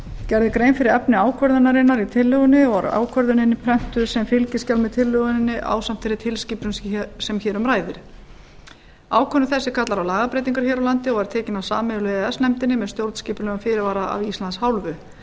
gerð er grein fyrir efni ákvörðunarinnar í tillögunni og er ákvörðunin prentuð sem fylgiskjal með tillögunni ásamt þeirri tilskipun sem hér um ræðir ákvörðun þessi kallar á lagabreytingar hér á landi og er tekin af sameiginlegu e e s nefndinni með stjórnskipulegum fyrirvara af íslands hálfu